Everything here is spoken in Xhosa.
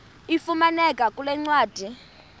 ifumaneka kule ncwadi